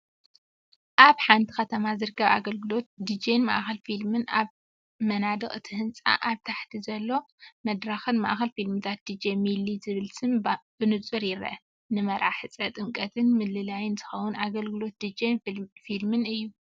ኣብ ሓንቲ ከተማ ዝርከብ ኣገልግሎት ዲጄን ማእከል ፊልምን። ኣብ መናድቕ እቲ ህንጻን ኣብ ታሕቲ ኣብ ዘሎ መድረኽን፣"ማእከል ፊልምታት ዲጄ ሚሊ" ዝብል ስም ብንጹር ይርአ። ፡ ንመርዓ፡ ሕጸ፡ ጥምቀትን ምልላይን ዝኸውን ኣገልግሎት ዲጄን ፊልምን እዩ።